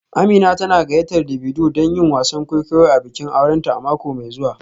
Amina tana gayyatar Davido don yin wasan kwaikwayo a bikin aurenta a mako mai zuwa